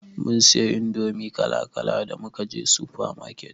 Mun siyo indomi kala kala da muka je sufa maket.